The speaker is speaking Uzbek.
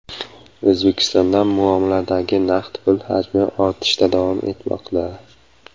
O‘zbekistonda muomaladagi naqd pul hajmi ortishda davom etmoqda.